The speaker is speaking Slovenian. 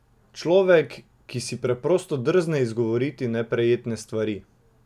Človek, ki si preprosto drzne izgovoriti neprijetne stvari.